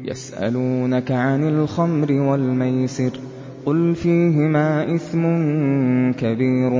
۞ يَسْأَلُونَكَ عَنِ الْخَمْرِ وَالْمَيْسِرِ ۖ قُلْ فِيهِمَا إِثْمٌ كَبِيرٌ